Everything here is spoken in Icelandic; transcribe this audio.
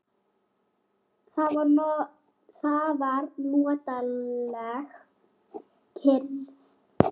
Það var notaleg kyrrð.